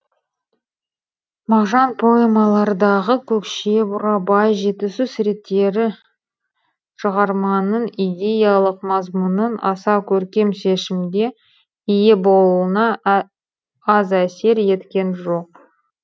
мағжан поэмалардағы көкше бурабай жетісу суреттері шығарманың идеялық мазмұнының аса көркем шешімге ие болуына аз әсер еткен жоқ